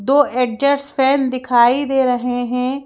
दो एडजर्स फैन दिखाई दे रहे हैं।